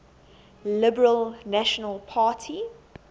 liberal national party